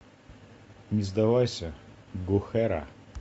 не сдавайся гохара